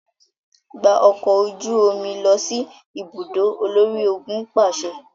Gba ọkọ oju omi lọ si ibudo, olori-ogun paṣẹ!